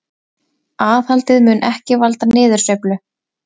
Aðhaldið mun ekki valda niðursveiflu